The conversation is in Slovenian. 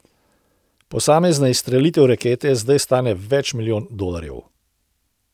Posamezna izstrelitev rakete zdaj stane več milijonov dolarjev.